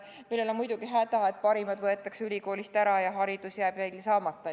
Sellega on muidugi see häda, et parimad võetakse ülikoolist ära ja haridus jääb neil saamata.